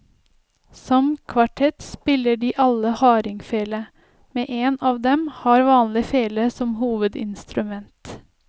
Som kvartett spiller de alle hardingfele, men en av dem har vanlig fele som hovedinstrument.